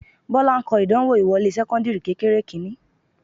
Bọ́lá ń kọ ìdánwò ìwọlé sẹ́kọ́ńdìrì kékeré kìíní